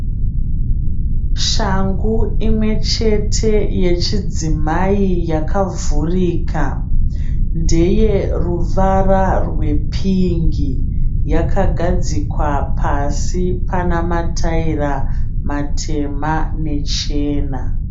Shangu imwe chete yechidzimai yakavhurika ndeyeruvara rwe pingi. yakagadzikwa pasi pana mataira matema nechena.